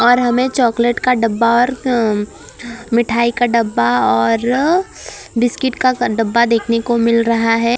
और हमें चॉकलेट का डब्बा और हम्म मिठाई का डब्बा और बिस्किट का डब्बा देखने को मिल रहा है और --